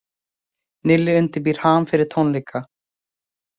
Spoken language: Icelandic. Nilli undirbýr HAM fyrir tónleika